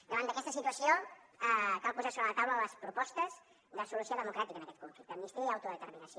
davant d’aquesta situació cal posar sobre la taula les propostes de solució democràtica en aquest conflicte amnistia i autodeterminació